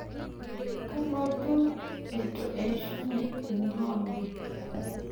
Kalotu eitu eishunye ena olong'.